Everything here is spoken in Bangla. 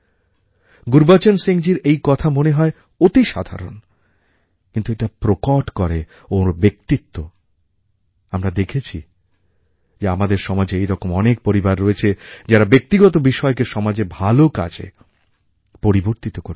গুরুবচন সিংজীর এই কথা মনে হয় অতিসাধারণ কিন্তু এটা প্রকট করে ওঁর ব্যক্তিত্ব আর আমরা দেখেছি যে আমাদের সমাজে এইরকম অনেক পরিবার রয়েছে যারা ব্যক্তিগত বিষয়কে সমাজের ভালো কাজে পরিবর্তিত করেছেন